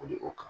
O de o kan